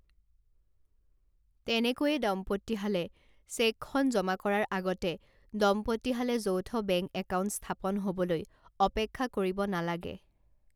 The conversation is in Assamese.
তেনেকৈয়ে দম্পতীহালে চেকখন জমা কৰাৰ আগতে দম্পতীহালে যৌথ বেংক একাউণ্ট স্থাপন হ'বলৈ অপেক্ষা কৰিব নালাগে।